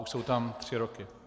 Už jsou tam tři roky.